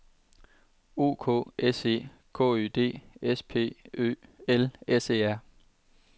O K S E K Ø D S P Ø L S E R